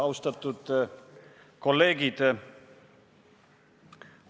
Austatud kolleegid!